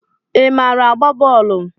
Ị maara agba bọọlu?